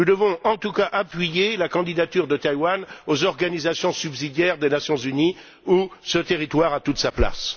Nous devons, en tout cas, appuyer la candidature de Taïwan aux organisations subsidiaires des Nations unies, où ce territoire a toute sa place.